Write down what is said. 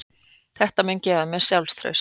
Þetta mun gefa mér sjálfstraust.